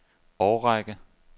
årrække